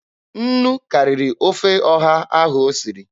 Nnu karịrị akarị n'ofe ọha ahụ o siri.